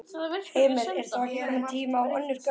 Heimir: Er þá ekki kominn tími á önnur gögn?